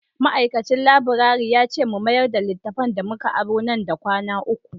Ma’aikacin laburare ya ce mu mayar da littattafan da muka aro nan da kwana uku.